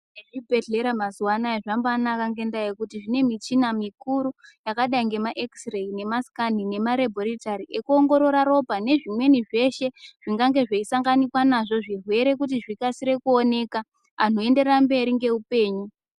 Nezvibhedhlera mazuwa anaaa zvambanaka ngendaa yekuti zvine muchina mikuru yakadai ngeamaekisi reyi nemasikani nemareboritari ekuongorora ropa nezvimweni zvirwere zvingange zveisanganikwa nazvo zvirwere kuti zvikasire kuoneke antu oenderera mberi ngeupenyu.